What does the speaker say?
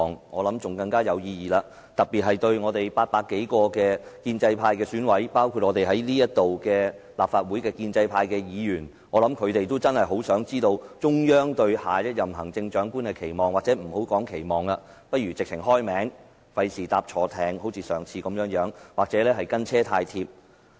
我想，這樣會來得更有意義，特別對我們800多名建制派選委而言，包括在席的立法會建制派議員，我想他們真的很想知道中央對下任行政長官的期望，或不說期望了，不如直接說出名字，免他們像上次般"押錯注"或"跟車太貼"。